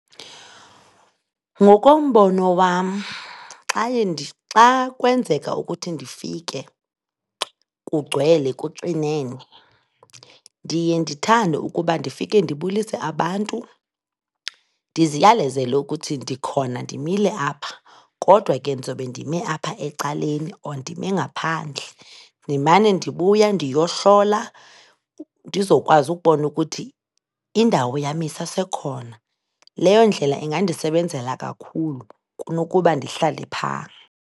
Ngokombono wam xa kwenzeka ukuthi ndifike kugcwele kuxinene, ndiye ndithande ukuba ndifike ndibulise abantu, ndiziyalezele ukuthi ndikhona ndimile apha, kodwa ke ndizobe ndime apha ecaleni or ndime ngaphandle. Ndimana ndibuya ndiyohlola, ndizokwazi ukubona ukuthi indawo yam isesekhona, leyo ndlela ingandisebenzela kakhulu kunokuba ndihlale phaa.